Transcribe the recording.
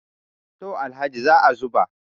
to Alhaji za a zuba